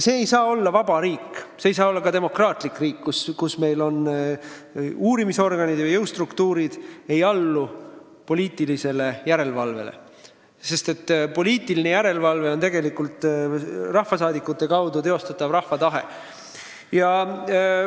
See ei saa olla vaba riik, see ei saa olla demokraatlik riik, kus uurimisorganid ja jõustruktuurid ei allu poliitilisele järelevalvele, sest poliitiline järelevalve on tegelikult rahvasaadikute kaudu teostatav rahva tahe.